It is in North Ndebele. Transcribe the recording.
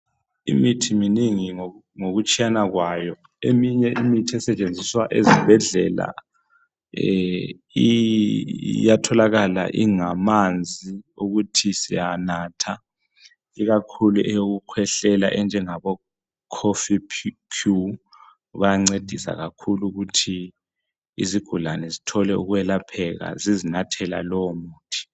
Imithi minengi ngokutshiyana kwayo, eminye imithi esetshenziswa ezibhedlela iyatholakala ingamanzi ukuthi siyanatha, ikakhulu eyokukhwehlela enjengabo Kof Cure bayancedisa kakhulu ukuthi izigulane zithole ukwelapheka zizinathela lowo muthi.